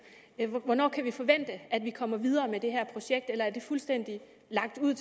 hvornår kan vi forvente at man kommer videre med det her projekt eller er det fuldstændig lagt ud